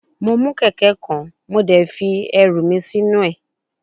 Mo mu keke kan mo de fi eru mi sinu e